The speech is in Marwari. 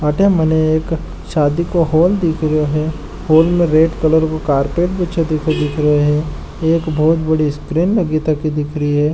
अठे मने एक शादी को हॉल दिख रियो है हॉल में रेड कलर को कारपेट बिछो दिख रियो है एक बोहोत बड़ी स्क्रीन लगी तकी दिख री है।